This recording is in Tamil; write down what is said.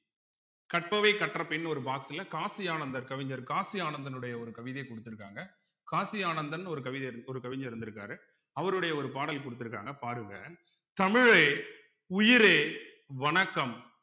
கற்பவை கற்றபின் ஒரு box ல காசி ஆனந்தர் கவிஞர் காசி ஆனந்தனுடைய ஒரு கவிதைய குடுத்திருக்காங்க காசி ஆனந்தன்னு ஒரு கவிதை ஒரு கவிஞர் இருந்திருக்காரு அவருடைய ஒரு பாடல் குடுத்திருக்காங்க பாருங்க தமிழே உயிரே வணக்கம்